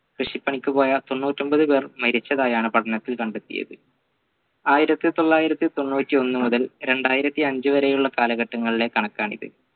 കൃഷി പണിക്കുപോയ തൊണ്ണൂറ്റി ഒമ്പത് പേർ മരിച്ചതായാണ് പഠനത്തിൽ കണ്ടെത്തിയത് ആയിരത്തി തൊള്ളായിരത്തി തൊണ്ണൂറ്റി ഒന്ന് മുതൽ രണ്ടായിരത്തി അഞ്ച വരെയുള്ള കാലഘട്ടങ്ങളിലെ കണക്കാണിത്